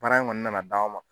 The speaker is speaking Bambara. Baara in kɔni nana d'anw ma.